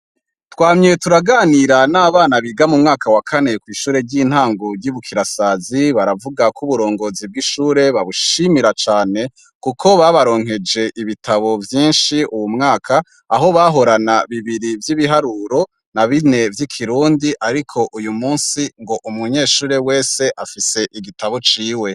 Twamye turaganira n'abana biga mu mwaka wa kane kw'ishure ry'intango rya Bukirasazi baravuga ko uburongozi bw'ishure babushimira cane kuko babaronkeje ibitabo vyinshi uwu mwaka aho bahorana bibiri vyi biharuro na bine vyi Kirundi ariko uyu munsi ngo umunyeshure wese afise igitabo ciwe.